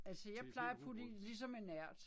Altså jeg plejer at putte i ligesom en ært